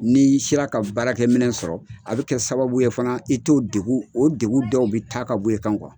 Ni i sera ka baarakɛ minɛ sɔrɔ a bɛ kɛ sababu ye fana i t'o degun o degun dɔw bɛ taa ka bɔ e kan .